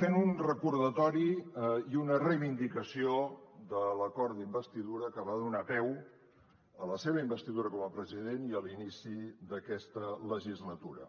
fent un recordatori i una reivindicació de l’acord d’investidura que va donar peu a la seva investidura com a president i a l’inici d’aquesta legislatura